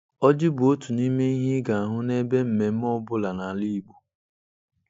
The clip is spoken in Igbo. Oji bụ otu n'ime ihe ị ga-ahụ n'ebe mmemme ọ bụla n'ala Igbo.